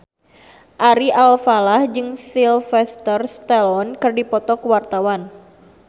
Ari Alfalah jeung Sylvester Stallone keur dipoto ku wartawan